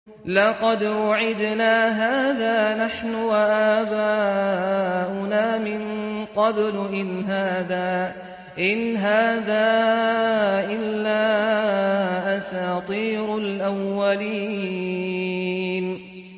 لَقَدْ وُعِدْنَا هَٰذَا نَحْنُ وَآبَاؤُنَا مِن قَبْلُ إِنْ هَٰذَا إِلَّا أَسَاطِيرُ الْأَوَّلِينَ